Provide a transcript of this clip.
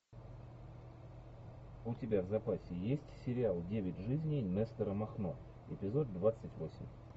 у тебя в запасе есть сериал девять жизней нестора махно эпизод двадцать восемь